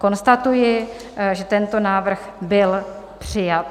Konstatuji, že tento návrh byl přijat.